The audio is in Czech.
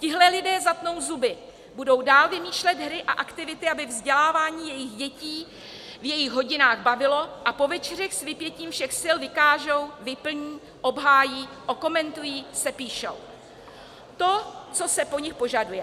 Tihle lidé zatnou zuby, budou dál vymýšlet hry a aktivity, aby vzdělávání jejich děti v jejich hodinách bavilo, a po večerech s vypětím všech sil vykážou, vyplní, obhájí, okomentují, sepíšou to, co se po nich požaduje.